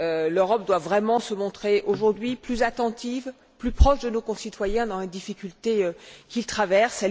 L'Europe doit vraiment se montrer aujourd'hui plus attentive, plus proche de nos concitoyens dans les difficultés qu'ils traversent.